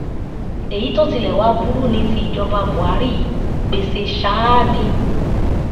èyí tó tilẹ̀ wàá burú ni ti ìjọba buhari yìí gbéṣẹ́ sáà ni